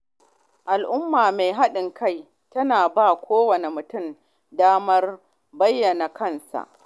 Al’umma mai haɗin kai tana ba wa kowane mutum damar bayyana kansa.